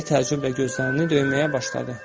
Deyə tərcümə gözlərini döyməyə başladı.